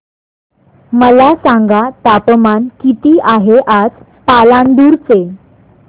मला सांगा तापमान किती आहे आज पालांदूर चे